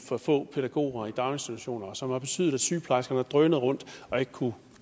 for få pædagoger i daginstitutionerne og som har betydet at sygeplejerskerne har drønet rundt og ikke kunnet